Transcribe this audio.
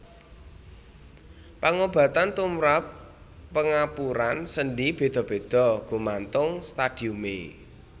Pangobatan tumrap pengapuran sendhi béda béda gumantung stadiumé